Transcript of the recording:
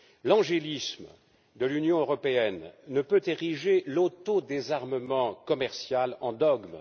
L'angélisme de l'Union européenne ne peut ériger l'autodésarmement commercial en dogme.